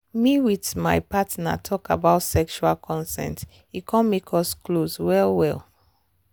me with my partner talk about sexual consent e come make us close well well.